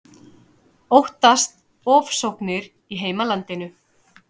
Óttast ofsóknir í heimalandinu